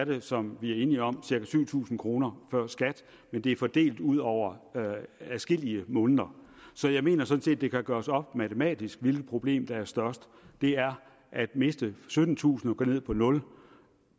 det som vi er enige om cirka syv tusind kroner før skat men det er fordelt ud over adskillige måneder så jeg mener sådan set at det kan gøres op matematisk hvilket problem der er størst det er at miste syttentusind kroner og gå ned på nul